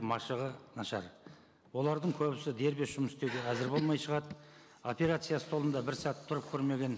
машығы нашар олардың көбісі дербес жұмыс істеуге әзір болмай шығады операция столында бір сәт тұрып көрмеген